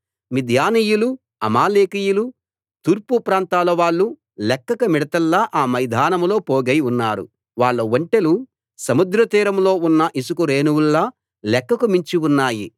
మిద్యానీయులు అమాలేకీయులు తూర్పుప్రాంతాల వాళ్ళు లెక్కకు మిడతల్లా ఆ మైదానంలో పోగై ఉన్నారు వాళ్ల ఒంటెలు సముద్ర తీరంలో ఉన్న యిసుక రేణువుల్లా లెక్కకు మించి ఉన్నాయి